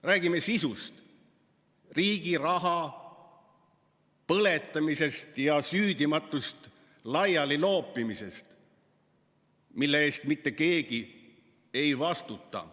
Räägime sisust, riigi raha põletamisest ja süüdimatust laialiloopimisest, mille eest mitte keegi ei vastuta.